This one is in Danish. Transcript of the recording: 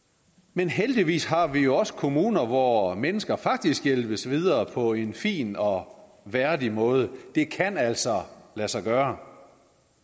men heldigvis har vi også kommuner hvor mennesker faktisk hjælpes videre på en fin og værdig måde det kan altså lade sig gøre